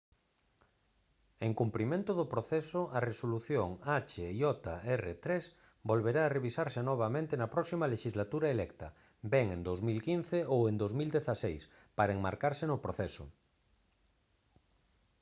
en cumprimento do proceso a resolución hjr-3 volverá a revisarse novamente na próxima lexislatura electa ben en 2015 ou en 2016 para enmarcarse no proceso